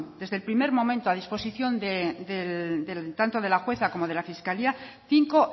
desde el primer momento tanto de la jueza como de la fiscalía cinco